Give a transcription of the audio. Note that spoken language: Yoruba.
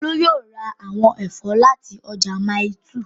Olú yóò ra àwọn ẹ̀fọ́ láti ọjà Mile 2